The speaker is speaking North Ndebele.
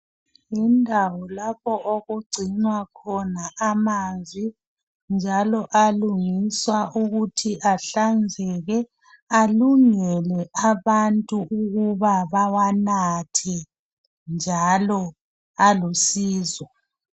Yindawo lapho okugcinwa khona amanzi njalo alungiswa ukuthi ahlanzeke alungele abantu ukuba bawanathe njalo alusizo.